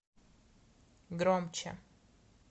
громче